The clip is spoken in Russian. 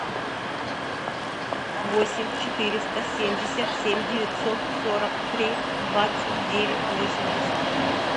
восемь четыреста семьдесят семь девятьсот сорок три двадцать девять восемьдесят